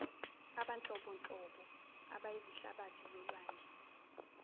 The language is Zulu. abanhlobonhlobo abayizihlabathi zolwandle